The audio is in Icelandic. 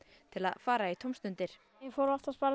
til að fara í tómstundir ég fór oftast bara